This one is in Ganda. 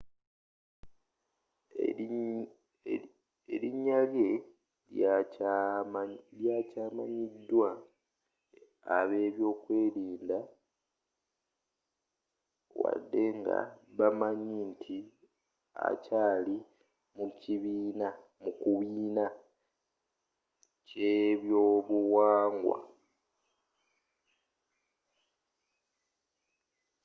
erinyarye likyamanyidwa abebyobuyinza wadde nga bamanyi nti akyaali omu kubiina ky'ebyobuwangwa